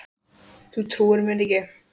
Þú trúir mér ekki?